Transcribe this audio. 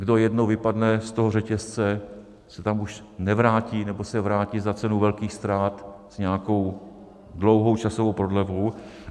Kdo jednou vypadne z toho řetězce, už se tam nevrátí nebo se vrátí za cenu velkých ztrát s nějakou dlouhou časovou prodlevou.